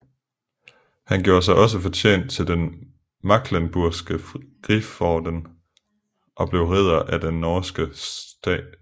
Han gjorde sig også fortjent til den Mecklenburgske Griforden og blev ridder af den norske St